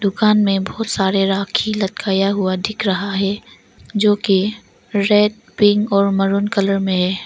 दुकान में बहुत सारे राखी लटकाया हुआ दिख रहा है जो की रेड पिंक और मैरून कलर में है।